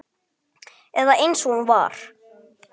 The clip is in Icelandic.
Eða eins og hún var.